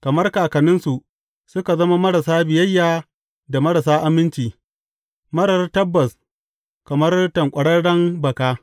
Kamar kakanninsu suka zama marasa biyayya da marasa aminci, marar tabbas kamar tanƙwararren baka.